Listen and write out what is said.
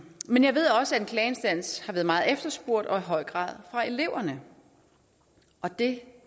men jeg ved også at en klageinstans har været meget efterspurgt og i høj grad af eleverne det